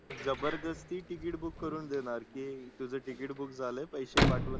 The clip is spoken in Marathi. जबरदस्ती तिकीट बुक करून देणार की तुझं बुक झालाय झालंय पैसे पाठवून